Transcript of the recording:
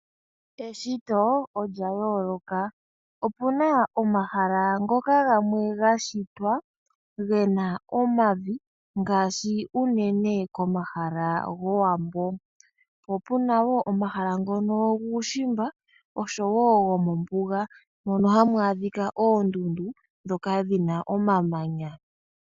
Eshito olya yooloka. Opuna omahala ngoka gamwe gashitwa gena omavi ngaashi uunene komahala gowambo. Po opuna wo omahala ngono gomuushimba osho wo gomombuga, mono hamu adhika oondundu dhoka dhina omamanya.